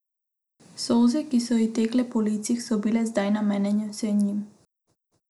Solze, ki so ji tekle po licih, so bile zdaj namenjene vsem njim.